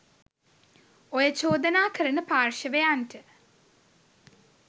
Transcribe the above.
ඔය චෝදනා කරන පාර්ශ්වයන්ට